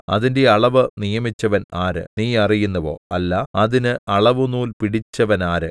അതിന്റെ അളവ് നിയമിച്ചവൻ ആര് നീ അറിയുന്നുവോ അല്ല അതിന് അളവുനൂൽ പിടിച്ചവനാര്